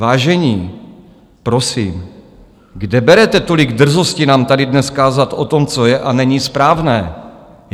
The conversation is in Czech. Vážení, prosím, kde berete tolik drzosti nám tady dnes kázat o tom, co je a není správné?